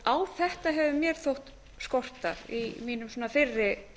á þetta hefur mér þótt skorta í mínum fyrri